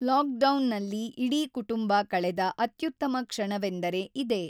ಲಾಕ್‌ಡೌನ್‌ನಲ್ಲಿ ಇಡೀ ಕುಟುಂಬ ಕಳೆದ ಅತ್ಯುತ್ತಮ ಕ್ಷಣವೆಂದರೆ ಇದೇ.